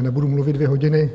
nebudu mluvit dvě hodiny.